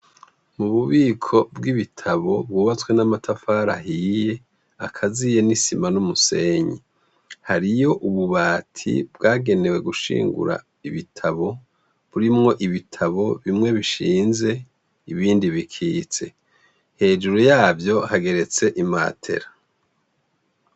Mububiko bw' ibitabo bwubatswe n' amatafari ahiye akaziye n' isima n' umusenyi hariyo ububati bwagenewe gushingura ibitabo burimwo ibitabo bimwe bishinze hejuru ibindi bikitse yavyo hageretse imatera.